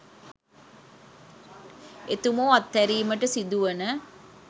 එතුමෝ අත්හැරීමට සිදුවන